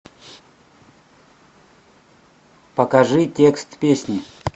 покажи текст песни